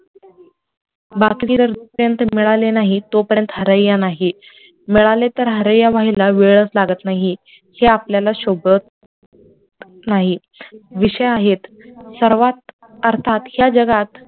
मिळाले नाही तो पर्यंत हरय्या नाही, मिळाले तर हरय्या वेळच लागत नाहीत हे आपल्याला शोभत नाही, विषय आहेत अर्थात या जगात